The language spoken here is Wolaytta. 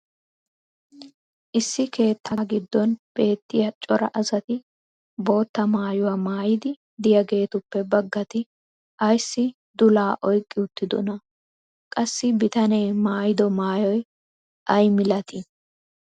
issi keettaa giddon beetiya cora asati bootta maayuwa maayidi diyaageetuppe bagatti ayssi dulaa oyqqi uttidonaa? qassi bitanee maayiddo maayoy ayi malatii?